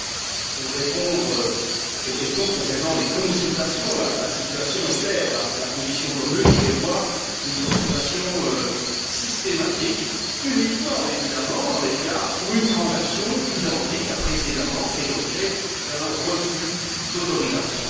Donc, pour répondre aux questions concernant les consultations, la situation est claire la position commune prévoit une consultation systématique uniquement, évidemment, dans les cas où une transaction identique a précédemment fait l'objet d'un refus d'autorisation.